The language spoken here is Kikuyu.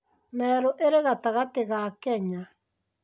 Merũ ĩrĩ gatagatĩ ga Kenya.